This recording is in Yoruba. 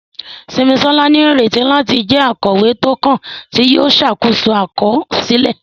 Simisola ní ìrètí láti jẹ́ akọ̀wé tó kàn, tí yóò ṣàkóso àkọsílẹ̀.